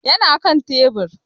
Ya na kan tebur.